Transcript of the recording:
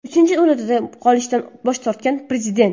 Uchinchi muddatga qolishdan bosh tortgan prezident.